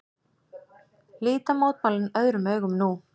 Líta mótmælin öðrum augum nú